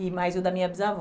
E mais o da minha bisavó.